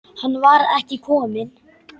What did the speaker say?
Hann var ekki kominn.